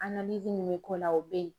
analizi mi be k'o la o be yen